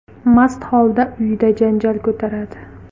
mast holda uyida janjal ko‘taradi.